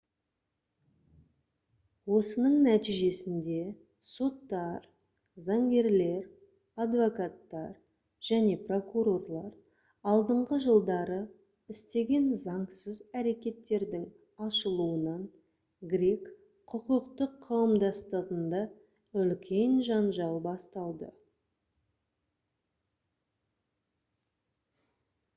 осының нәтижесінде соттар заңгерлер адвокаттар және прокурорлар алдыңғы жылдары істеген заңсыз әрекеттердің ашылуынан грек құқықтық қауымдастығында үлкен жанжал басталды